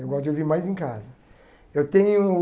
Eu gosto de ouvir mais em casa. Eu tenho